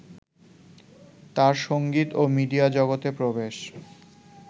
তাঁর সঙ্গীত ও মিডিয়া জগতে প্রবেশ